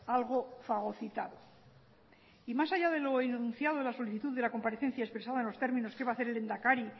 algo fagocitado y más allá de lo enunciado en la solicitud de la comparecencia expresada en los términos qué va a hacer el lehendakari